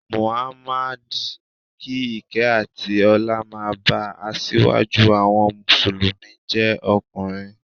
Mohammed (kí ìkẹ́ àti ọlá máa ba), asíwájú àwọn Mùsùlùmí jẹ́ ọkùnrin.